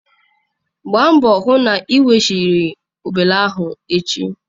Gbaa mbọ hụ na ị weghachiri obele ahụ echi.